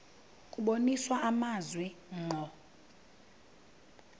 kubonisa amazwi ngqo